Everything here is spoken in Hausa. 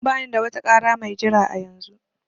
Bani da wata ƙara mai jira a yanzu